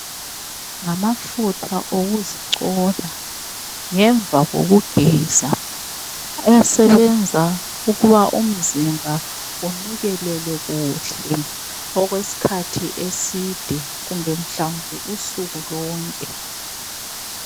Ngamafutha okuzicona ngemva kokugeza asebenza ukuba umzimba unukelele kuhle okwesikhathi eside kumbe usuku lonke.